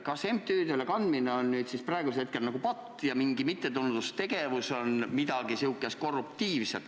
Kas MTÜ-dele raha kandmine on siis nagu patt ja mingis mittetulundustegevuses on midagi korruptiivset?